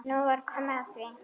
Nú var komið að því.